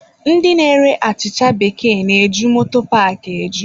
Ndị na-ere achịcha bekee na-eju moto paaki eju.